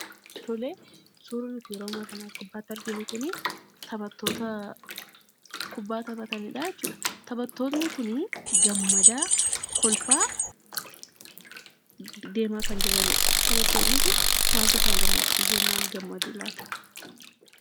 Tolee suurri nuti yeroo ammaa kana as gubbaatti argaa jirru kunii taphattoota kubbaa taphatanidhaa jechuudha taphattoonni kunii gammadaa kolfaa deemaa kan jiranidha. Taphattoonni kun maaltu isaan gammachiisee jennan gammadu laata?